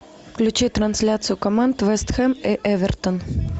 включи трансляцию команд вест хэм и эвертон